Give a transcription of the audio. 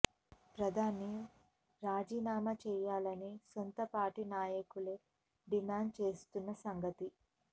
ప్రధాని రాజీనామా చేయాలని సొంత పార్టీ నాయకులే డిమాండ్ చేస్తోన్న సంగతి